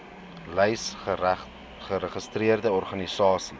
lys geregistreerde organisasies